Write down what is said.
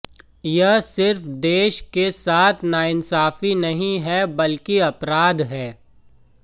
यह सिर्फ देश के साथ नाइंसाफी नहीं है बल्कि अपराध है